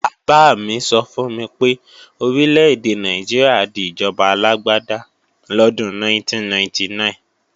Bàbá mi sọ fún mi pé Orílè-èdè Nàìjíríà di ìjọba alágbáda lọ́dún 1999